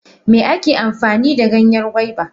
Me ake amfanida Ganyen gwaiba?